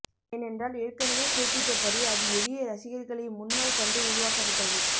ஏனென்றால் ஏற்கனவே குறிப்பிட்டபடி அது எளிய ரசிகர்களை முன்னால் கண்டு உருவாக்கப்பட்டது